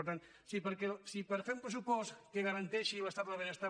per tant si per fer un pressupost que garanteixi l’estat del benestar